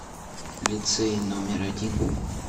лицей номер один